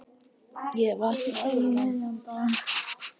Ég vaknaði um miðjan dag.